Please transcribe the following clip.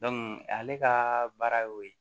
ale ka baara y'o ye